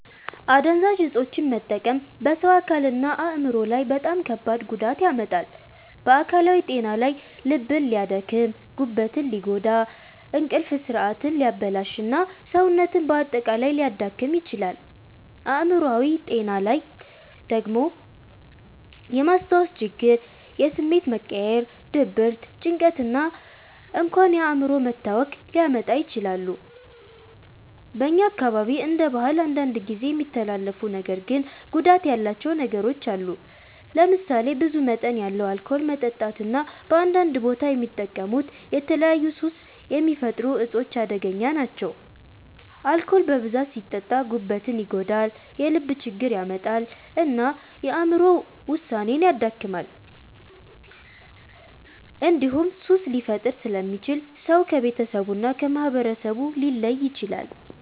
አደንዛዥ እፆችን መጠቀም በሰው አካልና አእምሮ ላይ በጣም ከባድ ጉዳት ያመጣል። በአካላዊ ጤና ላይ ልብን ሊያደክም፣ ጉበትን ሊጎዳ፣ እንቅልፍ ስርዓትን ሊያበላሽ እና ሰውነትን በአጠቃላይ ሊያዳክም ይችላል። አእምሮአዊ ጤና ላይ ደግሞ የማስታወስ ችግር፣ የስሜት መቀያየር፣ ድብርት፣ ጭንቀት እና እንኳን የአእምሮ መታወክ ሊያመጡ ይችላሉ። በእኛ አካባቢ እንደ ባህል አንዳንድ ጊዜ የሚተላለፉ ነገር ግን ጉዳት ያላቸው ነገሮች አሉ። ለምሳሌ ብዙ መጠን ያለው አልኮል መጠጣት እና በአንዳንድ ቦታ የሚጠቀሙት የተለያዩ ሱስ የሚፈጥሩ እፆች አደገኛ ናቸው። አልኮል በብዛት ሲጠጣ ጉበትን ይጎዳል፣ የልብ ችግር ያመጣል እና የአእምሮ ውሳኔን ያደክማል። እንዲሁም ሱስ ሊፈጥር ስለሚችል ሰው ከቤተሰቡ እና ከማህበረሰቡ ሊለይ ይችላል።